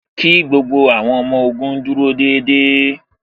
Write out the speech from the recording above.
Kí gbogbo àwọn ọmọ ogun dúró déédéé